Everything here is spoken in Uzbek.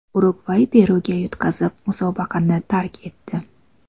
Urugvay Peruga yutqazib, musobaqani tark etdi .